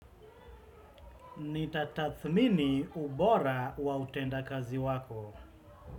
Nitatathmini ubora wa utenda kazi wako.